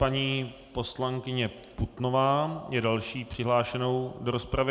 Paní poslankyně Putnová je další přihlášenou do rozpravy.